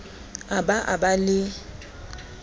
a ba a ba le